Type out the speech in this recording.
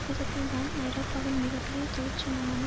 அவ்விதத்தில்தான் ஐரோப்பாவின் மிக பெரிய தொழிற்சங்கமான